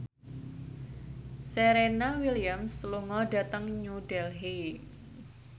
Serena Williams lunga dhateng New Delhi